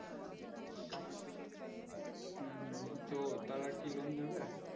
হুম হুম হুম তো তারা কি loan দিবে